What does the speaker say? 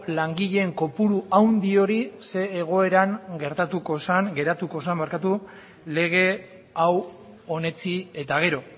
langileen kopuru handi hori zein egoeran geratuko zen lege hau onetsi eta gero